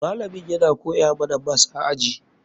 Malamin yana koya mana mas a aji.